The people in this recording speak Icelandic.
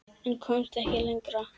En komst ekki lengra.